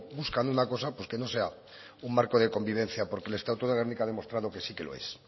buscan una cosa que no sea un marco de convivencia porque el estatuto de gernika ha demostrado que sí que lo es